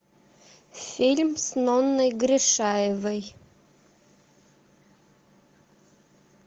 фильм с нонной гришаевой